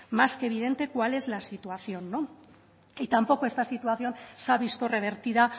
más que evidente cuál es la situación no y tampoco esta situación se ha visto revertida